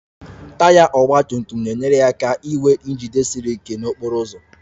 Taya ọgba tum tum na-enyere ya aka inwe njide siri ike n'okporo ụzọ